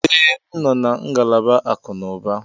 Ee, m nọ na ngalaba akụnụba